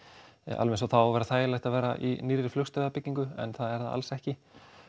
alveg eins og það á að vera þægilegt að vera í nýrri en það er það alls ekki